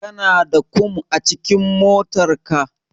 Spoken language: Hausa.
Kana da kum a cikin motarka?